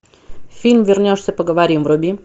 фильм вернешься поговорим вруби